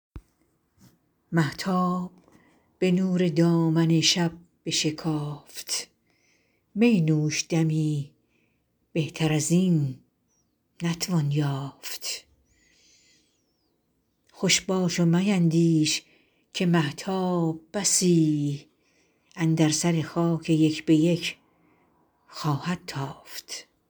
مهتاب به نور دامن شب بشکافت می نوش دمی بهتر از این نتوان یافت خوش باش و میندیش که مهتاب بسی اندر سر خاک یک به یک خواهد تافت